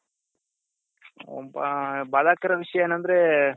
ಒಂದ್ ಬಾದಕರ ವಿಷ್ಯ ಏನಂದ್ರೆ